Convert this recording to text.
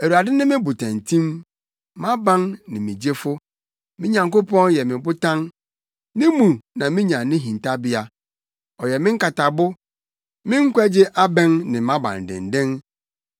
Awurade ne me botantim; mʼaban ne me gyefo; me Nyankopɔn yɛ me botan. Ne mu na minya me hintabea. Ɔyɛ me nkatabo, me nkwagye abɛn ne mʼabandennen.